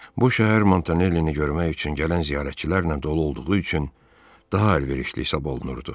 Bu şəhər Montanellini görmək üçün gələn ziyarətçilərlə dolu olduğu üçün daha əlverişli hesab olunurdu.